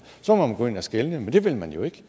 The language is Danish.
så må man gå ind og skelne men det vil man jo ikke